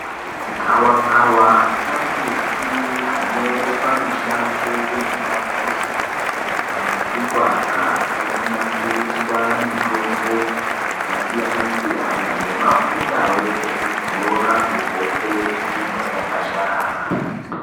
Gavakava kambuti kanoonekwa mushango nepamuzi kambuti Iko aka kanosasiriswa mitombo yakasiyana siyana nemafutawo ekudzora kuhope inenge yaka dhasharara.